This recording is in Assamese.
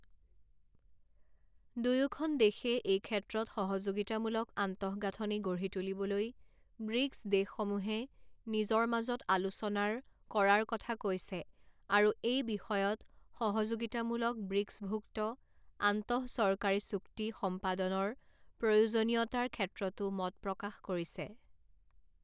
দুয়োখন দেশে এই ক্ষেত্ৰত সহযোগিতামূলক আন্তঃগাঁথনি গঢ়ি তুলিবলৈ ব্ৰিক্ছ দেশসমূহে নিজৰ মাজত আলোচনাৰ কৰাৰ কথা কৈছে আৰু এই বিষয়ত সহযোগিতামূলক ব্ৰিক্ছভুক্ত আন্তঃচৰকাৰী চুক্তি সম্পাদনৰ প্ৰয়োজনীয়তাৰ ক্ষেত্ৰতো মত প্ৰকাশ কৰিছে।